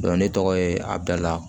ne tɔgɔ ye abidula